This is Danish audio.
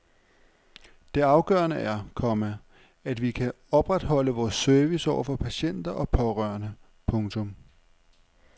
Det afgørende er, komma at vi kan opretholde vores service over for patienter og pårørende. punktum